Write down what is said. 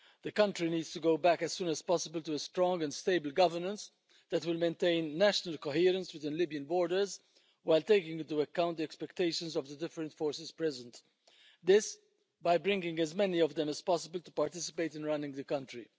The country needs to go back as soon as possible to a strong and stable governance that will maintain national coherence to the Libyan borders while taking into account the expectations of the different forces present this by bringing as many of them as possible to participate in running the country.